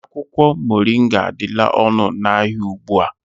Akwụkwọ moringa adịla ọnụ n'ahịa ugbu a